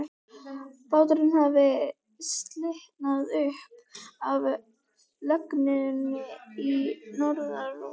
Báturinn hafði slitnað upp af legunni í norðanroki.